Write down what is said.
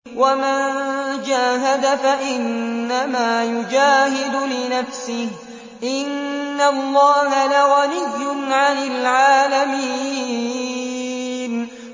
وَمَن جَاهَدَ فَإِنَّمَا يُجَاهِدُ لِنَفْسِهِ ۚ إِنَّ اللَّهَ لَغَنِيٌّ عَنِ الْعَالَمِينَ